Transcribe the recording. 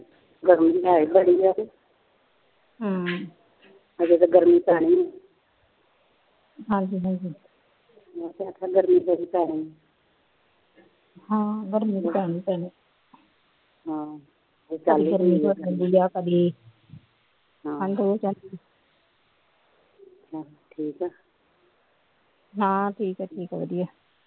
ਠੀ ਏ ਹਾ ਠੀਕ ਏ ਠੀਕ ਏ ਵਧੀਆਂ